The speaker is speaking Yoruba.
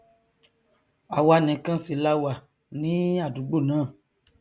àwa nìkan sì là wà ní àdúgbò náà